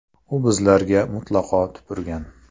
U bizlarga mutlaqo tupurgan.